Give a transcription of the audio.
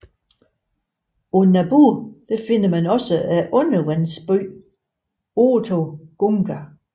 På Naboo finder man også undervandsbyen Otoh Gunga